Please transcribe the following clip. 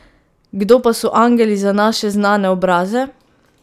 Kdo pa so angeli za naše znane obraze?